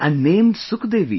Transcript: And named Sukhdevi